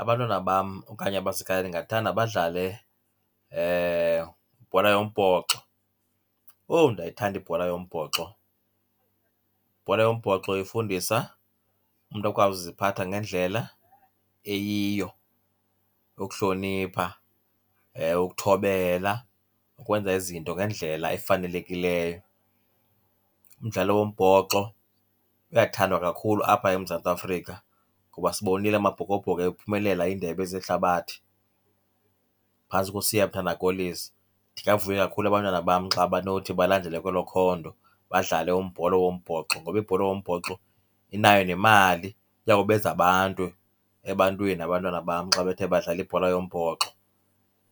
Abantwana bam okanye abasekhaya ndingathanda badlale ibhola yombhoxo. Owu, ndiyayithanda ibhola yombhoxo! Ibhola yombhoxo ifundisa umntu akwazi ukuziphatha ngendlela eyiyo, ngokuhlonipha, ukuthobela, ukwenza izinto ngendlela efanelekileyo. Umdlalo wombhoxo uyathandwa kakhulu apha eMzantsi Afrika kuba sibonile amaBhokoBhoko ephumelela iindebe zehlabathi phantsi koSiyamthanda Kolisi. Ndingavuya kakhulu abantwana bam xa banothi balandele kwelo khondo, badlale ibhola yombhoxo. Ngoba ibhola yombhoxo inayo nemali, iya kubenza abantu ebantwini abantwana bam xa bethe badlala ibhola yombhoxo.